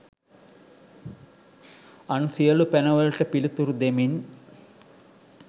අන් සියලු පැන වලට පිළිතුරු දෙමින්